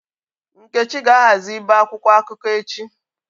Nkechi ga-ahazi íbè akwụkwọ akụkọ echi.